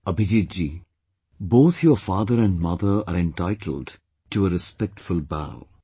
Abhijeet ji, both your father and mother are entitled to a respectful bow